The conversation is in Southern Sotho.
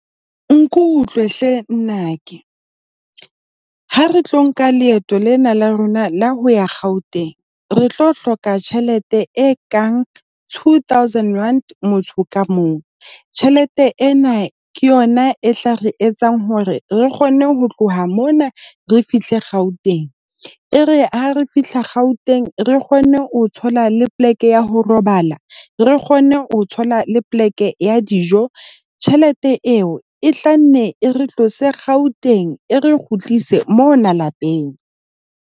Nkutlwe hle nnake. Ha re tlo nka leeto lena la rona la ho ya Gauteng, re tlo hloka tjhelete e kang two thousand rand, motho ka mong. Tjhelete ena ke yona e tla re etsang hore re kgone ho tloha mona re fihle Gauteng, e re ha re fihla Gauteng re kgone ho thola le poleke ya ho robala, re kgone ho thola le poleke ya dijo. Tjhelete eo e hlanne e re tlose Gauteng e re kgutlise mo hona lapeng.